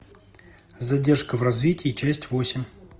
задержка в развитии часть восемь